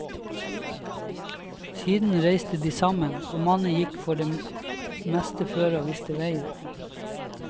Siden reiste de sammen, og mannen gikk for det meste føre og viste veien.